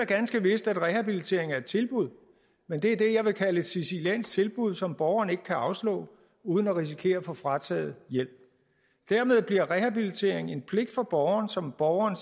ganske vist at rehabilitering er et tilbud men det er det jeg vil kalde et siciliansk tilbud som borgeren ikke kan afslå uden at risikere at få frataget hjælpen dermed bliver rehabilitering en pligt for borgeren som borgeren